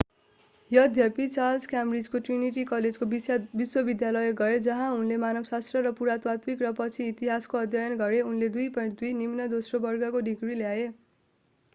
यद्यपि चार्ल्स क्याम्ब्रिजको ट्रिनिटी कलेजको विश्वविद्यालय गए जहाँ उनले मानवशास्त्र र पुरातात्विक र पछि इतिहासको अध्ययन गरे उनले 2:2 निम्न दोस्रो वर्गको डिग्री ल्याए।